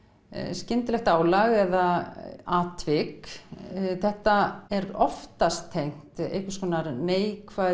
skyndilegt álag eða atvik þetta er oftast tengt einhvers konar neikvæðu